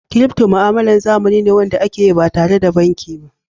"crypto" ma'amloli zamanin be Wanda akeyi ba tare da banki ba.